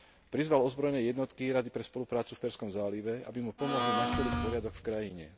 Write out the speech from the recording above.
Prizval ozbrojené jednotky Rady pre spoluprácu v Perzskom zálive, aby mu pomohli nastoliť poriadok v krajine.